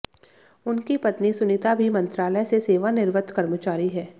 उनकी पत्नी सुनीता भी मंत्रालय से सेवानिवृत्त कर्मचारी हैं